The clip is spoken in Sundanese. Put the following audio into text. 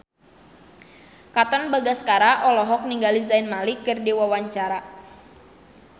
Katon Bagaskara olohok ningali Zayn Malik keur diwawancara